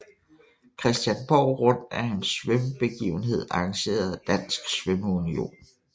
Christiansborg Rundt er en svømmebegivenhed arrangeret af Dansk Svømmeunion